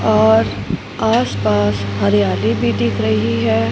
और आस पास हरियाली भी दिख रही है।